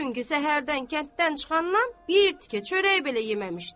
Çünki səhərdən kənddən çıxandan bir tikə çörək belə yeməmişdi.